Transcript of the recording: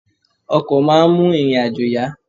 Ọkọ̀ máa ń mú ìrìn-àjò yá.